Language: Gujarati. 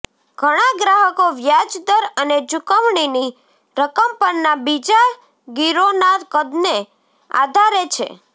ઘણા ગ્રાહકો વ્યાજ દર અને ચૂકવણીની રકમ પરના બીજા ગીરોના કદને આધારે છે